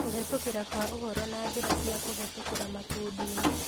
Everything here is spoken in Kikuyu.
Kũhĩtũkĩra kwa ũhoro na njĩra cia kũhĩtũkĩra makundi-inĩ